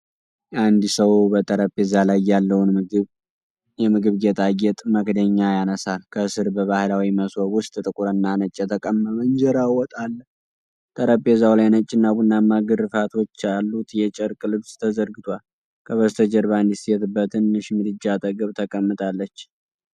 አንድ ሰው በጠረጴዛ ላይ ያለውን የምግብ ጌጣጌጥ መክደኛ ያነሳል። ከስር በባህላዊ መሶብ ውስጥ ጥቁርና ነጭ የተቀመመ እንጀራና ወጥ አለ። ጠረጴዛው ላይ ነጭና ቡናማ ግርፋቶች ያሉት የጨርቅ ልብስ ተዘርግቷል። ከበስተጀርባ አንዲት ሴት በትንሽ ምድጃ አጠገብ ተቀምጣለች።